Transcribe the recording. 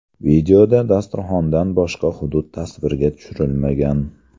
Videoda dasturxondan boshqa hudud tasvirga tushirilmagan.